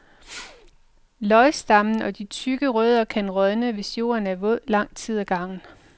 Løgstammen og de tykke rødder kan rådne, hvis jorden er våd lang tid ad gangen.